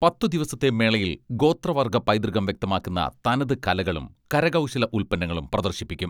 പത്ത് ദിവസത്തെ മേളയിൽ ഗോത്ര വർഗ്ഗ പൈതൃകം വ്യക്തമാക്കുന്ന തനതുകലകളും കരകൗശല ഉൽപ്പന്നങ്ങളും പ്രദർശിപ്പിക്കും.